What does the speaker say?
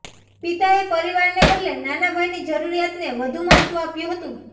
પિતાએ પરિવારને બદલે નાના ભાઈની જરૂરિયાતને વધુ મહત્ત્વ આપ્યું હતું